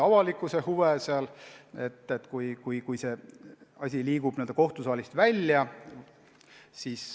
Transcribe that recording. Avalikkuse huvid tuleb ka sel juhul tagada, kui asi liigub n-ö kohtusaalist välja.